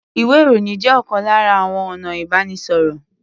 Ìwé-ìròyìn jẹ́ ọ̀kan lára àwọn ọ̀nà ìbánisọ̀rọ̀.